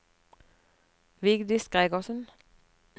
Vigdis Gregersen